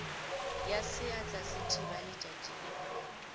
ya seatla sethibaletšatši e ba